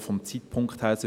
Auch vom Zeitpunkt her: